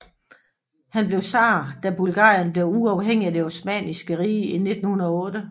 Han blev tsar da Bulgarien blev uafhængig af det Osmanniske Rige i 1908